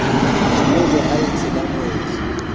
phokojwe ha e tshela moedi